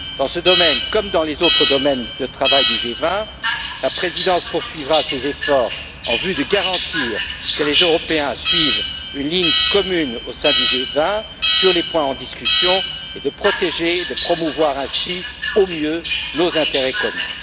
Dans ce domaine, comme dans les autres domaines de travail du G20, la présidence poursuivra ses efforts en vue de garantir que les Européens suivent une ligne commune au sein du G20 sur les points en discussion et de protéger et promouvoir ainsi au mieux nos intérêts communs.